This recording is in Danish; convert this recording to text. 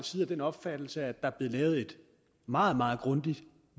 side af den opfattelse at der er blevet lavet et meget meget grundigt